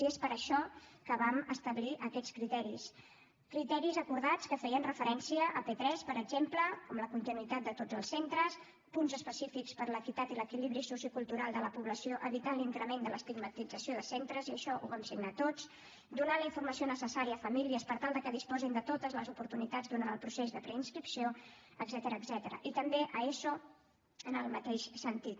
i és per això que vam establir aquests criteris criteris acordats que feien referència a p3 per exemple amb la continuïtat de tots els centres punts específics per a l’equitat i l’equilibri sociocultural de la població per evitar l’increment de l’estigmatització de centres i això ho vam signar tots donar la informació necessària a famílies per tal de que disposin de totes les oportunitats durant el procés de preinscripció etcètera i també a eso en el mateix sentit